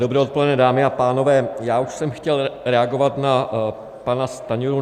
Dobré odpoledne, dámy a pánové, já už jsem chtěl reagovat na pana Stanjuru.